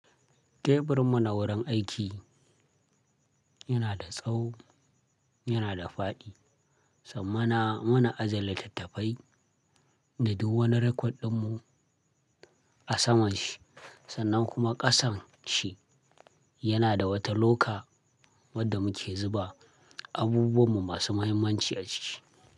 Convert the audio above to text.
Teburinmu na wurin aiki yana da tsawo yana da faɗi sanmana muna ajiye littattafai da duk wani record ɗinmu a saman shi sannan kuma ƙasan shi yana da wata loka wadda muke zuba abubuwanmu masu mahimmanci a ciki.